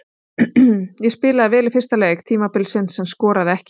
Ég spilaði vel í fyrsta leik tímabilsins en skoraði ekki.